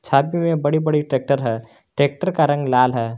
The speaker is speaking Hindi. में बड़ी बड़ी ट्रैक्टर है ट्रैक्टर का रंग लाल है।